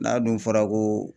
N'a dun fɔra ko